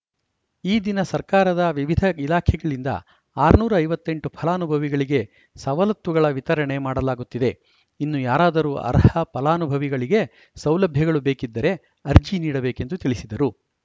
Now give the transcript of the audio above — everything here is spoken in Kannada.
ಈ ದಿನ ಸರ್ಕಾರದ ವಿವಿಧ ಇಲಾಖೆಗಳಿಂದ ಆರುನೂರ ಐವತ್ತ್ ಎಂಟು ಫಲಾನುಭವಿಗಳಿಗೆ ಸವಲತ್ತುಗಳ ವಿತರಣೆ ಮಾಡಲಾಗುತ್ತಿದೆ ಇನ್ನು ಯಾರಾದರೂ ಅರ್ಹ ಫಲಾನುಭವಿಗಳಿಗೆ ಸೌಲಭ್ಯಗಳು ಬೇಕಿದ್ದರೆ ಅರ್ಜಿ ನೀಡಬೇಕೆಂದು ತಿಳಿಸಿದರು